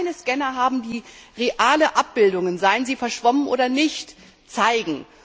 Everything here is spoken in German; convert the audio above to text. Wir wollten keine Scanner haben, die reale Abbildungen seien sie verschwommen oder nicht zeigen.